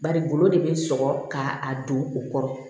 Bari golo de bɛ sɔgɔ ka a don u kɔrɔ